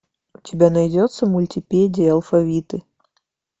у тебя найдется мультипедия алфавиты